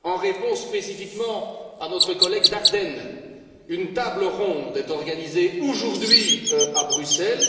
En réponse spécifiquement à notre collègue Daerden, une table ronde est organisée aujourd'hui à Bruxelles.